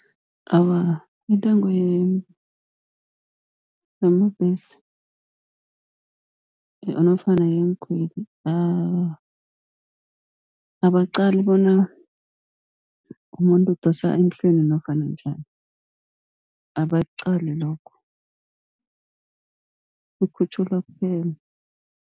Awa, intengo yamabhesi nofana yeenkhweli awa, abaqali bona umuntu udosa emhlweni nofana njani, abakuqali lokho kukhutjhulwa kuphela.